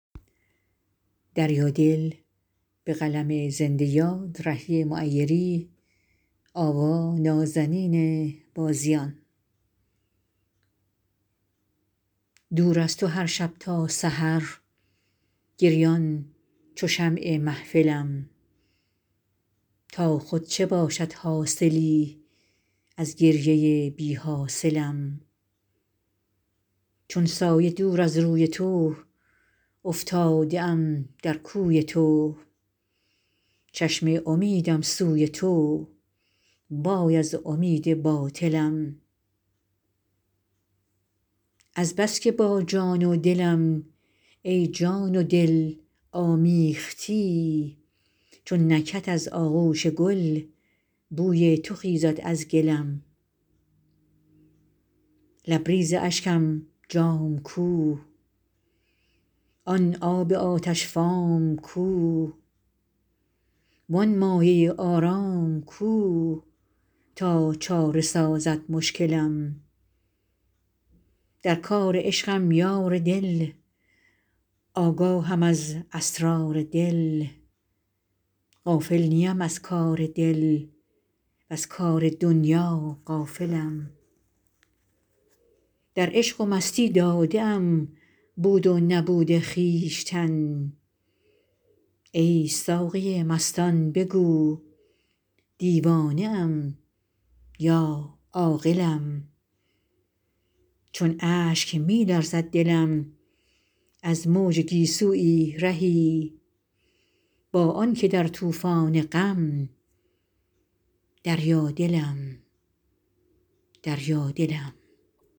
دور از تو هرشب تا سحر گریان چو شمع محفلم تا خود چه باشد حاصلی از گریه بی حاصلم چون سایه دور از روی تو افتاده ام در کوی تو چشم امیدم سوی تو وای از امید باطلم از بس که با جان و دلم ای جان و دل آمیختی چون نکهت از آغوش گل بوی تو خیزد از گلم لبریز اشکم جام کو آن آب آتش فام کو وآن مایه آرام کو تا چاره سازد مشکلم در کار عشقم یار دل آگاهم از اسرار دل غافل نیم از کار دل وز کار دنیا غافلم در عشق و مستی داده ام بود و نبود خویشتن ای ساقی مستان بگو دیوانه ام یا عاقلم چون اشک می لرزد دلم از موج گیسویی رهی با آن که در طوفان غم دریا دلم دریادلم